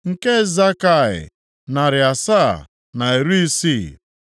nke Zakai, narị asaa na iri isii (760),